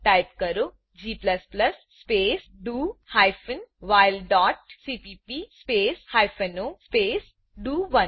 type કરો g space D O hyphen while dot CPP space hyphen O space ડીઓ1